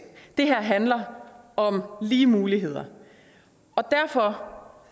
det her handler om lige muligheder derfor